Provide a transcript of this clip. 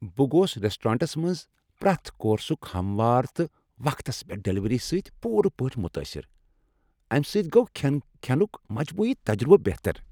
بہٕ گوس ریسٹورانٹس منٛز پرٛؠتھ کورسک ہموار تہٕ وقتس پؠٹھ ڈلیوری سۭتۍ پوٗرٕ پٲٹھۍ متٲثر، امہ سۭتۍ گوٚو کھین کھینک مجموعی تجربہٕ بہتر۔